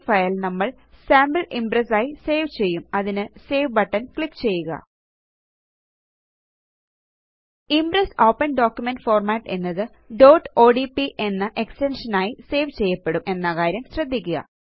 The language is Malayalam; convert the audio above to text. ഈ ഫയൽ നമ്മൾ സാംപിൾ Impressആയി സേവ് ചെയ്യും അതിനു സേവ് ബട്ടണ് ക്ലിക്ക് ചെയ്യുക ഇംപ്രസ് ഓപ്പൻ ഡോക്യുമെന്റ് ഫോർമാറ്റ് എന്നത് odp എന്ന എക്സ്റ്റെൻഷനായി സേവ് ചെയ്യപ്പെടും എന്ന കാര്യം ശ്രദ്ധിക്കുക